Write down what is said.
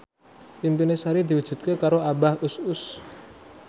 impine Sari diwujudke karo Abah Us Us